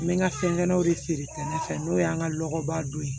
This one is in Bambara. N bɛ n ka fɛngɛw de feere kɛnɛ fɛ n'o y'an ka lɔkɔbaa don